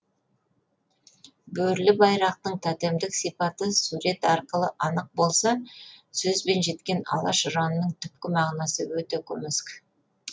бөрілі байрақтың тотемдік сипаты сурет арқылы анық болса сөзбен жеткен алаш ұранының түпкі мағынасы өте көмескі